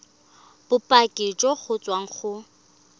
bopaki jo bo tswang go